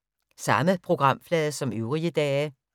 Samme programflade som øvrige dage